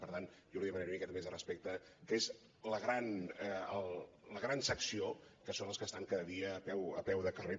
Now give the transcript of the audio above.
per tant jo li demanaria una miqueta més de respecte que és la gran secció que són els que estan cada dia a peu de carrer